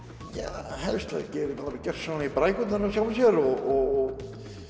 helst að þeir geri gjörsamlega í brækurnar hjá sjálfum sér og